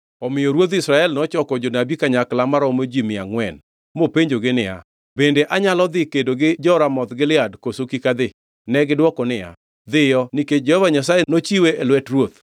Omiyo ruodh Israel nochoko jonabi kanyakla maromo ji mia angʼwen, mopenjogi niya, “Bende anyalo dhi kedo gi jo-Ramoth Gilead, koso kik adhi?” Negidwoke niya “Dhiyo nikech Jehova Nyasaye nochiwe e lwet ruoth.”